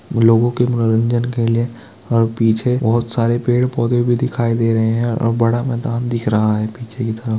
लोगो के मनोरंजन के लिए और पीछे बहुत सारे पेड़-पौधे भी दिखाई दे रहे है और बड़ा मैदान दिख रहा है पीछे की तरफ।